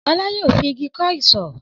Ọlá yóò fi igi kọ́ isọ̀.